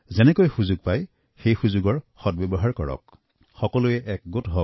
যেনেকুৱা সুযোগ পোৱা যাব আৰু যতেই সুযোগ পাব আমি যেন সুযোগ উলিয়াই তাৰ সদ্ব্যৱহাৰ কৰোঁ